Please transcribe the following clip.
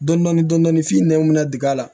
Dɔndɔni dɔndɔni f'i nɛn minɛ digɛn la